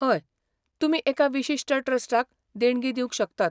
हय, तुमी एका विशिश्ट ट्रस्टाक देणगी दिवंक शकतात.